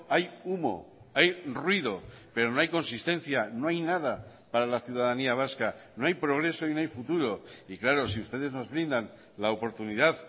hay humo hay ruido pero no hay consistencia no hay nada para la ciudadanía vasca no hay progreso y no hay futuro y claro si ustedes nos brindan la oportunidad